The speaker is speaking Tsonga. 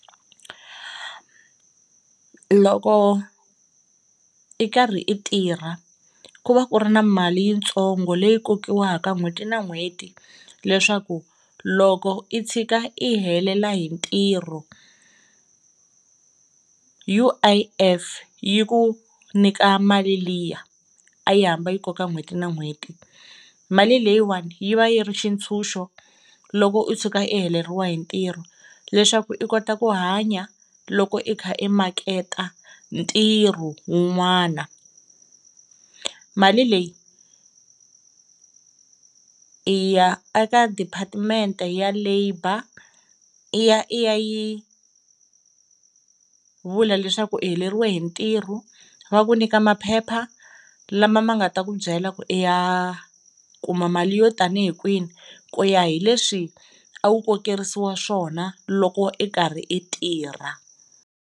Loko i karhi i tirha ku va ku ri na mali yitsongo leyi kokiwaka n'hweti na n'hweti leswaku loko i tshika i helela hi ntirho U_I_F yi ku nyika mali liya a yi hamba yi koka n'hweti na n'hweti, mali leyiwani yi va yi ri xitshunxo loko u tshuka i heleriwa hi ntirho leswaku i kota ku hanya loko i ka i maketa ntirho wun'wana. Mali leyi i ya eka deparetment-e ya labour i ya i ya yi vula leswaku i heleriwe hi ntirho, va ku nyika maphepha lama ma nga ta ku byela ku i ya a kuma mali yo tanihi kwihi ku ya hi leswi a wu kokeriwi swona loko i xikarhi i tirha.